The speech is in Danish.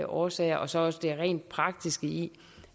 årsager og så også det rent praktiske i